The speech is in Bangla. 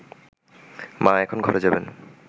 মা এখন ঘরে যাবেন